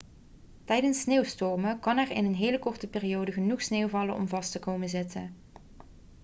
tijdens sneeuwstormen kan er in een hele korte periode genoeg sneeuw vallen om vast te komen te zitten